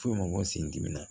Foyi ma ko sendimi na